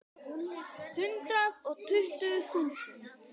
Hundrað og tuttugu þúsund.